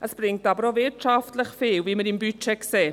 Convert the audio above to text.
Es bringt aber auch wirtschaftlich viel, wie wir im Budget sehen.